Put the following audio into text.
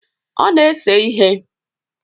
Ọ na-ese ihe.